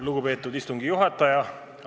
Lugupeetud istungi juhataja!